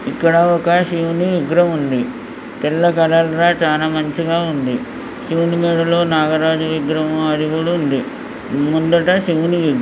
ఇక్కడ ఒక శివుని విగ్రహం ఉంది. తెల్ల కలర్ ల చానా మంచిగా ఉంది. శివుని మెడలో నాగరాజు విగ్రహం అది కూడా ఉంది. ముందట శివుని --